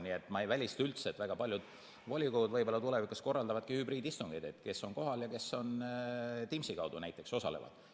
Nii et ma ei välista üldse, et väga paljud volikogud tulevikus korraldavadki hübriidistungeid, kes on kohal ja kes osalevad näiteks Teamsi kaudu.